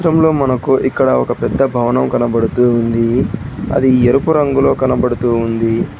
ఈ చిత్రంలో మనకు ఇక్కడ ఒక పెద్ద భవనం కనపడుతుంది అది ఎరుపు రంగులో కనబడుతూ ఉంది.